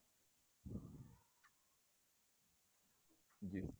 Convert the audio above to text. ਜ਼ੀ